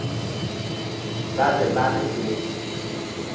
ba be ba re o